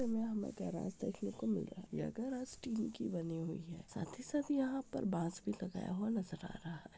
यहाँ हमें गराज देखने को मिल रहा है। यह गराज स्टील की बनी हुई है। साथ ही साथ यहाँ पर बांस भी लगाया हुआ नजर आ रहा है।